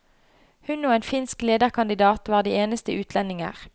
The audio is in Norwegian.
Hun og en finsk lederkandidat var de eneste utlendinger.